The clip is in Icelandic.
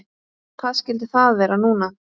Hvað skyldi það vera núna?